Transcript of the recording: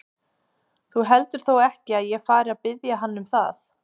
Þú heldur þó ekki, að ég fari að biðja hann um það?